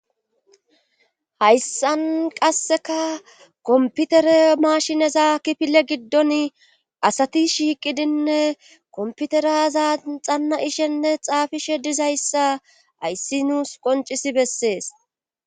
hayssan qasseka komputere maashineza kifile giddon asati shiiqidinne komputeraza xanna ishenne xaafishe dizayssa ayssi nuus qoncisi bessees